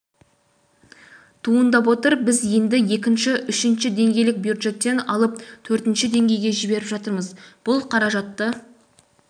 туындап отыр біз енді екінші үшінші деңгейлік бюджеттен алып төртінші деңгейге жіберіп жатырмыз бұл қаражатты